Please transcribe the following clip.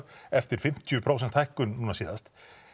eftir fimmtíu prósent hækkun núna síðast